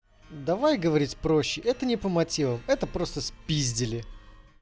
давай говорить проще это не по мотивам это просто спиздили